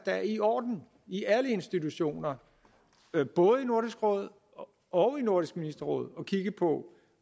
er i orden i alle institutioner både i nordisk råd og i nordisk ministerråd at kigge på